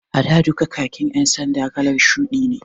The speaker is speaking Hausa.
A da duka khakin ƴan sanda kalar shuɗi ne